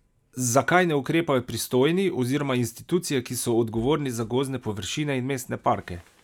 Zakaj ne ukrepajo pristojni oziroma institucije, ki so odgovorni za gozdne površine in mestne parke?